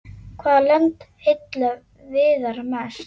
Hvaða lönd heilla Viðar mest?